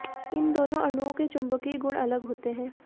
इन दोनो अणुओं के चुंबकीय गुण अलग होते हैं